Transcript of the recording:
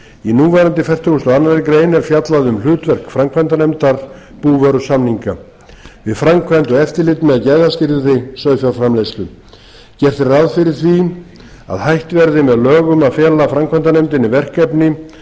í núverandi fertugasta og aðra grein er fjallað um hlutverk framkvæmdanefndar búvörusamninga við framkvæmd á eftirliti með gæðastýrðri sauðfjárframleiðslu gert er ráð fyrir því að hægt verði með lögum að fela framkvæmdanefndinni verkefni